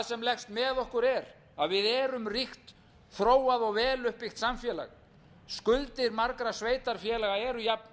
sem leggst með okkur er að við erum ríkt þróað og vel uppbyggt samfélag skuldir margra sveitarfélaga eru jafn miklar og raun